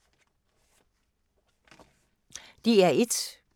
DR1